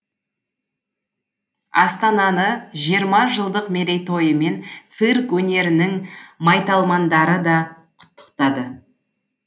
астананы жиырма жылдық мерейтойымен цирк өнерінің майталмандары да құттықтады